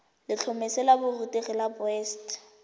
letlhomeso la borutegi la boset